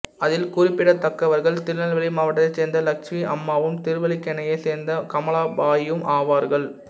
அதில் குறிப்பிடத்தக்கவர்கள் திருநெல்வேலி மாவட்டத்தைச் சேர்ந்த லட்சுமி அம்மாவும் திருவல்லிக்கேணியை சேர்ந்த கமலாபாயும் ஆவார்கள்